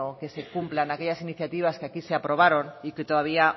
que se cumplan aquellas iniciativas que aquí se aprobaron y que todavía